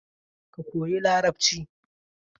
Ka koyi Larabci!